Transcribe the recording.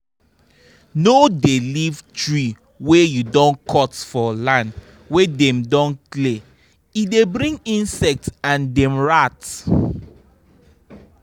no dey leave tree wey you don cut for land wey dem don clear e dey bring insect and dem rats